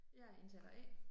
Jeg indtaler A